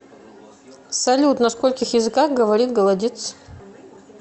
салют на скольких языках говорит голодец